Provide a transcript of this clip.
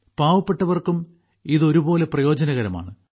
പാവപ്പെട്ടവർക്കും ഇത് ഒരുപോലെ പ്രയോജനകരമാണ്